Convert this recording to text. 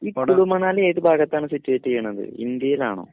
കുളുമണാലി ഏത് ഭാഗത്താണ് സിറ്റുവേറ്റിയണത്‌ ഇന്ത്യയിലാണൊ